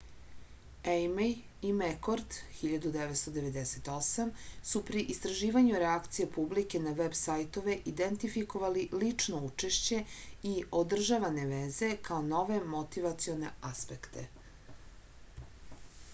ејмеј и мекорд 1998 су при истраживању реакција публике на веб сајтове идентификовали лично учешће и одржаване везе као нове мотивационе аспекте